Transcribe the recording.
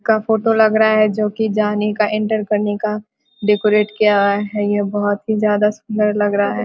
का फोटो लग रहा है जो कि जाने का एंटर करने का डेकोरेट किया है यह बहुत ही ज्यादा सुन्दर लग रहा है ।